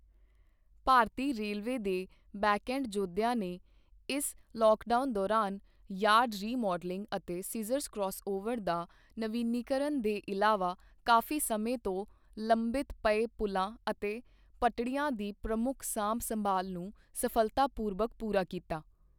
ਭਾਰਤੀ railway ਦੇ backend ਜੋਧਿਆਂ ਨੇ ਇਸ ਲੋਕਡਾਊਨ ਦੌਰਾਨ ਯਾਰਡ ਰੀਮਾਡਲਿੰਗ ਅਤੇ ਸੀਜਰਜ਼ ਕਰੌਸਓਵਰ ਦਾ ਨਵੀਨੀਕਰਨ ਦੇ ਇਲਾਵਾ ਕਾਫ਼ੀ ਸਮੇਂ ਤੋਂ ਲੰਬਿਤ ਪਏ ਪੁਲਾਂ ਅਤੇ ਪਟੜੀਆਂ ਦੀ ਪ੍ਰਮੁੱਖ ਸਾਂਭ ਸੰਭਾਲ਼ ਨੂੰ ਸਫਲਤਾਪੂਰਬਕ ਪੂਰਾ ਕੀਤਾ।